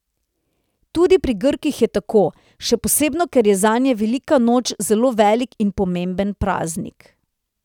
Tudi pri Grkih je tako, še posebno ker je zanje velika noč zelo velik in pomemben praznik.